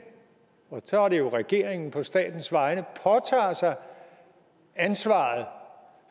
og så er det jo regeringen på statens vegne påtager sig ansvaret